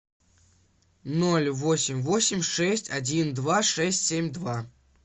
ноль восемь восемь шесть один два шесть семь два